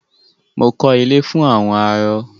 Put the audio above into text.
Mo kọ́ ilé fún àwọn arọ.